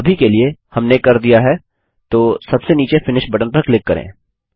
अभी के लिए हमने कर दिया है तो सबसे नीचे फिनिश बटन पर क्लिक करें